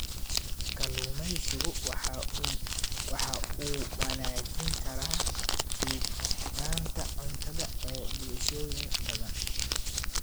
Kalluumaysigu waxa uu wanaajin karaa sugnaanta cuntada ee bulshooyin badan.